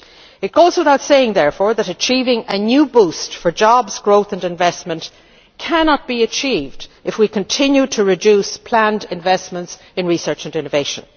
It goes without saying, therefore, that a new boost for jobs, growth and investment cannot be achieved if we continue to reduce planned investments in research and innovation.